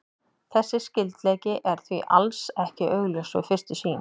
Þessi skyldleiki er því alls ekki augljós við fyrstu sýn.